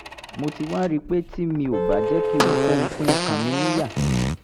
mo ti wá rí i pé tí mi ò bá jẹ́ kí ohunkóhun pín ọkàn mi níyà